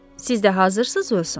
Siz də hazırsınız, Uson?